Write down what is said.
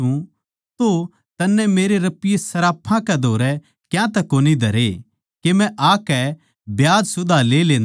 तो तन्नै मेरे रपिये सर्राफां कै धोरै क्यातै कोनी धरे के मै आकै ब्याज सुधां ले लेन्दा